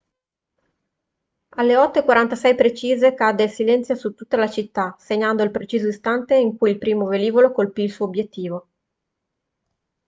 alle 8:46 precise cadde il silenzio su tutta la città segnando il preciso istante in cui il primo velivolo colpì il suo obiettivo